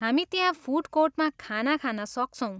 हामी त्यहाँ फुड कोर्टमा खाना खान सक्छौँ।